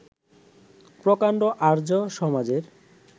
প্রকাণ্ড আর্য্য-সমাজের